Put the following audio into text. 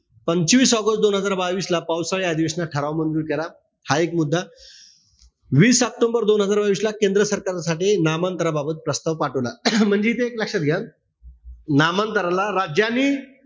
पंचवीस आगस्ट दोन हजार बावीस ला पावसाळी अधिवेशनात ठराव मंजूर केला. हा एक मुद्दा वीस ऑक्टोबर दोन हजार बावीसला केंद्र सरकारसाठी नामांतराबाबत प्रस्ताव पाठवला. म्हणजे इथे एक लक्षात घ्या. नामांतराला राज्यांनी,